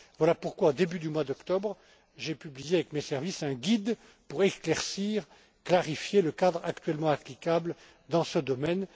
pas. Voilà pourquoi, au début du mois d'octobre, j'ai publié avec mes services un guide pour éclaircir et clarifier le cadre actuellement applicable dans ce domaine.